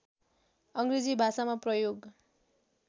अग्रेजी भाषामा प्रयोग